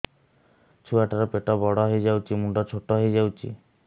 ଛୁଆ ଟା ର ପେଟ ବଡ ହେଇଯାଉଛି ମୁଣ୍ଡ ଛୋଟ ହେଇଯାଉଛି